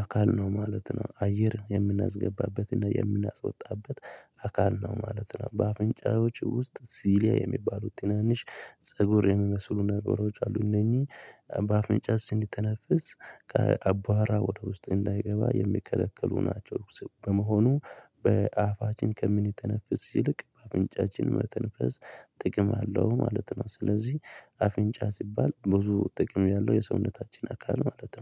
አካል ነው ማለት ነው። አየር የምናስገባበትና የምናስወጣበት አካል ነው ማለት ነው። በአፍንጫዎች ውስጥ ሲሊያ የሚባሉት ትናንሽ ፀጉር የሚመስሉ ነገሮች አሉ። እነኚህ በአፍንጫስ እንዲተነፍስ ከአባራ ወደ ውስጥ እንዳይገባ የሚከለክሉ ናቸው። በመሆኑ በአፋችን ከምንተነፍስ ሲልቅ በአፍንጫችን መተንፈስ ጥቅም አለው ማለት ነው። ስለዚህ አፍንጫ ሲባል ብዙ ጥቅም ያለው የሰውነታችን አካል ማለት ነው